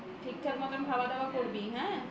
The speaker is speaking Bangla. ঠিকঠাক মতন খাবার দাবার করবি হ্যাঁ